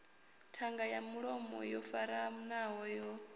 ṱhanga ya mulomo yo faranaho